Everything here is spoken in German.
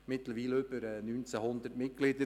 Mittlerweile hat es über 1900 Mitglieder.